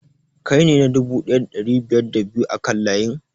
Kai ne na dubu ɗaya da ɗari biyar da biyu a kan layin?